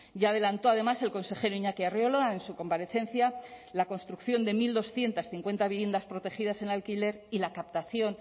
ya adelantó además el consejero iñaki arriola en su comparecencia la construcción de mil doscientos cincuenta viviendas protegidas en alquiler y la captación